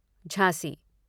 Jhansi